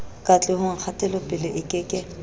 katlehong kgatelopele e ke ke